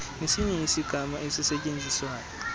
nesinye isigama esisetyenziswayo